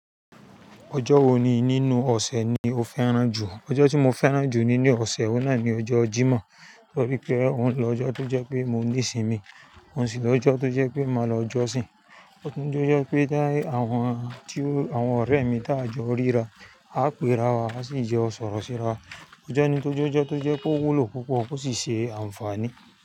Ọjọ́ wo ni nínú ọ̀sẹ̀ ni o fẹ́ràn jù? Ọjọ́ tí mo fẹ́ràn jù nínú ọ̀sẹ̀, óun náà ni ọjọ́ Jímọ̀. Torí pé ó ń lọjọ́ tó jẹ́ pé mo ní ìsimi, óun sì lọjọ́ tó jẹ́ pé màá lọ jọ́sìn. Ó tún jẹ́ ọjọ́ pé te àwọn tí ó, àwọn ọ̀rẹ́ mi tá jọ rí ra, a péra wa, a sì jẹ ọ̀sọ̀rọ̀ síra. Ọjọ́ ni tójọ́jọ́ tó jẹ́ pe o wúlò púpọ̀ ó sì ṣe àǹfààní.